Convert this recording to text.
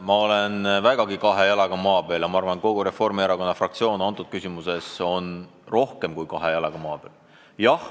Ma olen vägagi kahe jalaga maa peal ja ma arvan, et kogu Reformierakonna fraktsioon on selles küsimuses rohkem kui kahe jalaga maa peal.